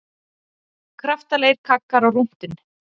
Kraftalegir kaggar á rúntinn